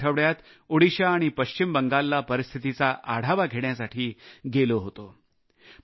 मी गेल्या आठवड्यात ओदिशा आणि पश्चिम बंगालला परिस्थितीचा आढावा घेण्यासाठी गेलो होतो